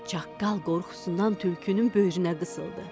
Çaqqal qorxusundan tülkünün böyrünə qısıldı.